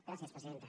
gràcies presidenta